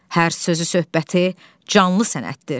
Hər sözü-söhbəti canlı sənətdir.